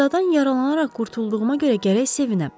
Qəzadan yaralanaraq qurtulduğuma görə gərək sevinəm.